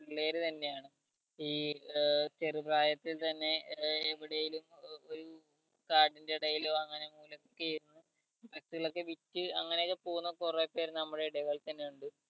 പിള്ളേർ തന്നെ ആണ് ഈ ഏർ ചെറു പ്രായത്തിൽ തന്നെ ഏർ എവിടേയും ഏർ ഇപ്പം കാട്ടിന്റെ ഇടയിലോ അങ്ങനെ മൂലക്കൊക്കെ ഇരുന്ന് cigarette കളൊക്കെ വിറ്റ് അങ്ങനെ ഒക്കെ പോകുന്ന കൊറേ പേർ നമ്മടെ ഇടകളിൽ തന്നെ ഇണ്ട്